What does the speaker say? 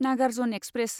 Nagarjuna express